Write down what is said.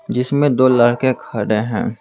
जिसमें दो लड़के खड़े हैं ।